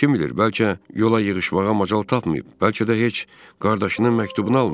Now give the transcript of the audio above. Kim bilir bəlkə yola yığışmağa macal tapmayıb, bəlkə də heç qardaşının məktubunu almayıb.